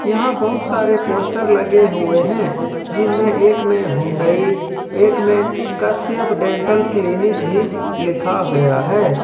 यहां बहुत सारे पोस्टर लगे हुए हैं जिनमें एक में हुंडई एक में कश्यप डेंटल क्लिनिक भी लिखा गया है।